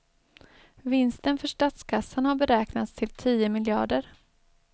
Vinsten för statskassan har beräknats till tio miljarder.